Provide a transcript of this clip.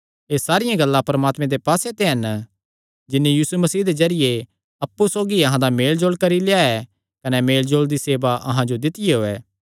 एह़ सारियां गल्लां परमात्मे दे पास्से ते हन जिन्नी यीशु मसीह दे जरिये अप्पु सौगी अहां दा मेलजोल करी लेआ कने मेलजोल दी सेवा अहां जो दित्तियो ऐ